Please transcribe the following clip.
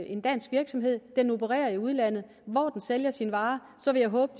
en dansk virksomhed den opererer i udlandet hvor den sælger sine varer så vil jeg håbe